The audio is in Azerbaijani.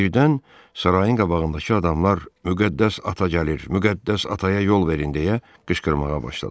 Birdən sarayın qabağındakı adamlar Müqəddəs ata gəlir, Müqəddəs ataya yol verin deyə qışqırmağa başladılar.